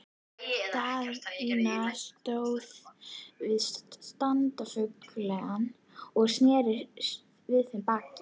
Daðína stóð við stafngluggann og sneri við þeim baki.